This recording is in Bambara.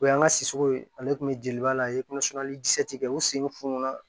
O y'an ka sisamaw ye ale tun bɛ jeliba la kɛ u sen fununna